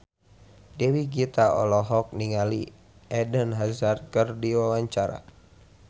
Dewi Gita olohok ningali Eden Hazard keur diwawancara